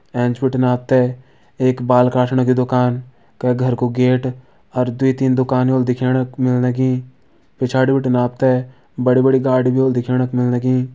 ऐंच बिटिन आप तैं एक बाल काटना की दुकान कै घर कू गेट और दुई तीन दुकान होली दिखेणा कू मिलन लगीं पिछाड़ी बिटिन आप तैं बड़ी बड़ी भी होली दिखेणा कू मिलन लगीं।